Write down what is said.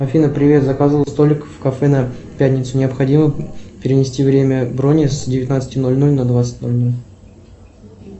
афина привет заказывал столик в кафе на пятницу необходимо перенести время брони с девятнадцати ноль ноль на двадцать ноль ноль